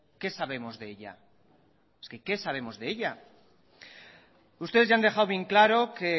qué sabemos de ella es que qué sabemos de ella ustedes ya han dejado bien claro que